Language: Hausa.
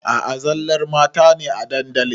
A a zallar mata ne a dandalin.